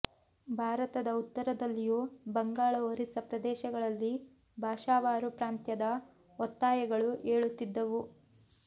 ಭಾರತದ ಉತ್ತರದಲ್ಲಿಯೂ ಬಂಗಾಳ ಒರಿಸ್ಸಾ ಪ್ರದೇಶಗಳಲ್ಲಿ ಭಾಷಾವಾರು ಪ್ರಾಂತ್ಯದ ಒತ್ತಾಯಗಳು ಏಳುತ್ತಿದ್ದವು